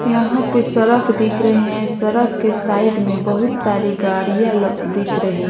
यहां पे सरक दिख रहे हैं सरक के साइड में बहुत सारी गाड़ियां ल दिख रही --